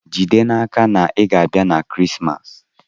Jide n'aka na ị ga-abịa maka Krismas!